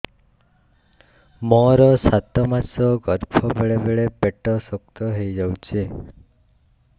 ମୋର ସାତ ମାସ ଗର୍ଭ ବେଳେ ବେଳେ ପେଟ ଶକ୍ତ ହେଇଯାଉଛି